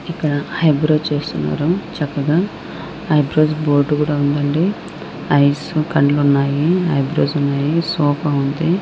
ఇక్కడ eyebrows చేస్తున్నారు చక్కగా ఐ బ్రోస్ బోర్డు కూడా ఉందండి ఐసు కళ్ళు ఉన్నాయి ఐ బ్రోస్ ఉన్నాయి సోఫా ఉంది.